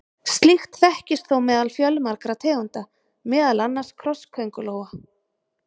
Slíkt þekkist þó meðal fjölmargra tegunda, meðal annars krossköngulóa.